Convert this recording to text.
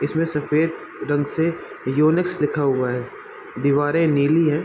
इसमें सफेद रंग से यूनिक्स लिखा हुआ है दीवारें नीली है।